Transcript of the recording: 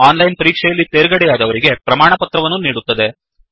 ಓನ್ಲೈನನ್ ಪರೀಕ್ಷೆ ಯಲ್ಲಿ ತೇರ್ಗಡೆಯಾದವರಿಗೆ ಪ್ರಮಾಣಪತ್ರವನ್ನು ನೀಡುತ್ತದೆ